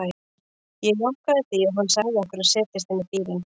Ég jánkaði því og hann sagði okkur að setjast inn í bílinn.